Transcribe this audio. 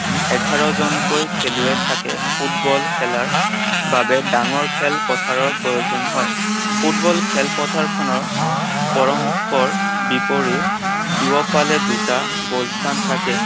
এঘাৰ জনকৈ খেলুৱৈ থাকে। ফুটবল খেলাৰ বাবে ডাঙৰ খেলপথাৰৰ প্ৰয়োজন হয়। ফুটবল খেলপথাৰখনৰ পৰস্পৰ বিপৰীত দুয়োফালে দুটা গ'ল স্থান থাকে।